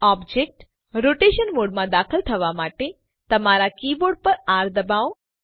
object rotation મોડમાં દાખલ થવા માટે તમારા કીબોર્ડ પર આર ડબાઓ